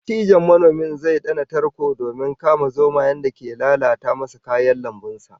Dattijon manomin zai dana tarko domin kama zomayen da ke lalata masa kayan lambun sa